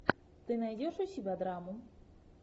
ты найдешь у себя драму